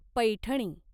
Paithani